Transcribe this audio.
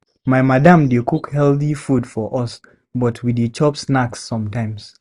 My madam dey cook healthy food for us, but we dey chop snacks sometimes.